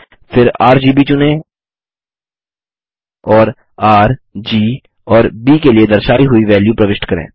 फिर आरजीबी चुनें और र जी और ब के लिए दर्शायी हुई वेल्यू प्रविष्ट करें